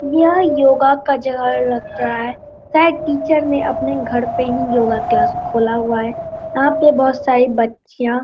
यह योगा का जगह लगता है शायद टीचर ने अपने घर पे ही योगा क्लास खोला हुआ है यहाँ पे बहुत सारी बच्चियाँ --